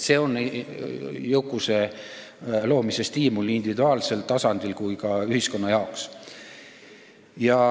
See on jõukuse loomise stiimul nii individuaalsel tasandil kui ka ühiskonna tasandil.